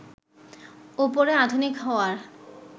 ওপরে আধুনিক হওয়ার